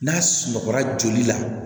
N'a sunɔgɔra joli la